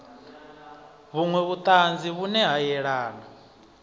vhunwe vhutanzi vhune ha yelana